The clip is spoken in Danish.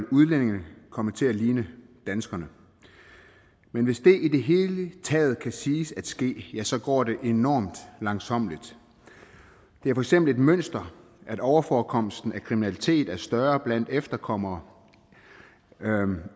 udlændingene komme til at ligne danskerne men hvis det i det hele taget kan siges at ske ja så går det enorm langsommeligt det er for eksempel et mønster at overforekomsten af kriminalitet er større blandt efterkommere